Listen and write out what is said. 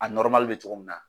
A bɛ cogo min na